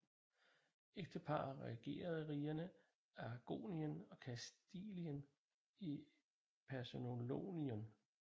Ægteparret regerede rigerne Aragonien og Kastilien i personalunion